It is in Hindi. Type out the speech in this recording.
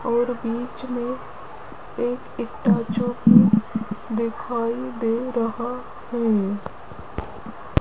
और बीच में एक स्टैचू भी दिखाई दे रहा है।